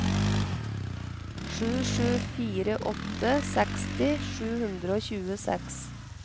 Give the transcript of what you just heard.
sju sju fire åtte seksti sju hundre og tjueseks